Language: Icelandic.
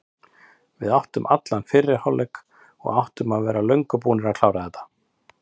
Við áttum allan fyrri hálfleik og áttum að vera löngu búnir að klára þetta.